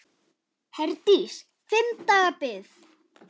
Herdís: Fimm daga bið?